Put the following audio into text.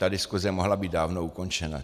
Ta diskuse mohla být dávno ukončena.